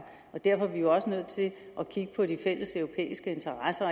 og derfor er vi jo også nødt til at kigge på de fælleseuropæiske interesser